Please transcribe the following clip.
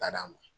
Bada